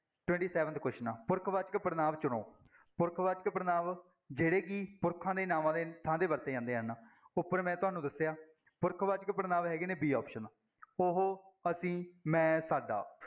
twenty-seventh question ਪੁਰਖਵਾਚਕ ਪੜ੍ਹਨਾਂਵ ਚੁਣੋ, ਪੁਰਖ ਵਾਚਕ ਪੜ੍ਹਨਾਂਵ ਜਿਹੜੇ ਕਿ ਪੁਰਖਾਂ ਦੇ ਨਾਂਵਾਂ ਦੇ ਥਾਂ ਤੇ ਵਰਤੇ ਜਾਂਦੇ ਹਨ, ਉੱਪਰ ਮੈਂ ਤੁਹਾਨੂੰ ਦੱਸਿਆ ਪੁਰਖ ਵਾਚਕ ਪੜ੍ਹਨਾਂਵ ਹੈਗੇ ਨੇ b option ਉਹ, ਅਸੀਂ, ਮੈਂ, ਸਾਡਾ